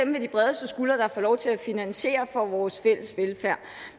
med de bredeste skuldre der får lov til at finansiere vores fælles velfærd